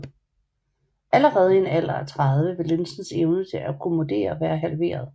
Allerede i en alder af 30 vil linsens evne til at akkommodere være halveret